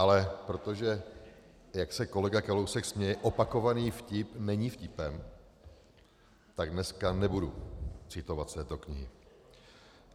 Ale protože jak se kolega Kalousek směje, opakovaný vtip není vtipem, tak dneska nebudu citovat z té knihy.